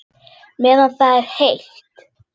Meðan það er heitt.